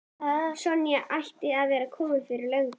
Sonja ætlaði að vera komin fyrir löngu.